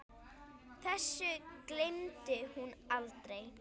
Þessu gleymdi hún aldrei.